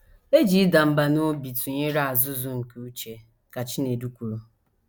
“ E ji ịda mbà n’obi tụnyere azụ̀zụ̀ nke uche, ” ka Chinedu kwuru.